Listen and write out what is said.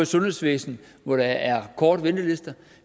sundhedsvæsen hvor der er korte ventelister